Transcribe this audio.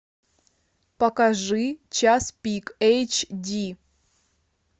покажи час пик эйч ди